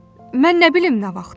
Mən nə bilim nə vaxt?